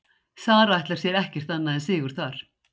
Sara ætlar sér ekkert annað en sigur þar.